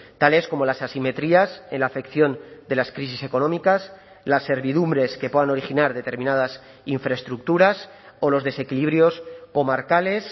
tales como las asimetrías en la afección de las crisis económicas las servidumbres que puedan originar determinadas infraestructuras o los desequilibrios comarcales